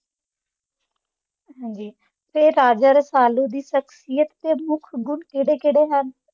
ਹਾਂਜੀ ਤੇ ਰਾਜਾ ਰਸਾਲੂ ਦੀ ਸ਼ਖਸੀਅਤ ਦੇ ਮੁੱਖ ਗੁਣ ਕਿਹੜੇ- ਕਿਹੜੇ ਹਨ?